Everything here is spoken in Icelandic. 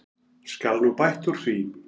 Skal nú bætt úr því.